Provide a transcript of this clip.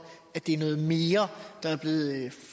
det er noget mere der er blevet